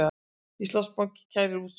Íslandsbanki kærir úrskurð